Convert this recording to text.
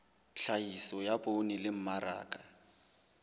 tlhahiso ya poone le mmaraka